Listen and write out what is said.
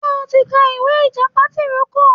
Ṣé o ti ka ìwé tìjàpá tìrókò.